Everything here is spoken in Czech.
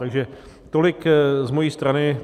Takže tolik z mé strany.